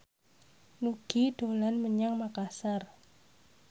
Nugie dolan menyang Makasar